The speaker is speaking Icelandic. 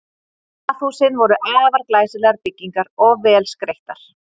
Baðhúsin voru afar glæsilegar byggingar og vel skreyttar.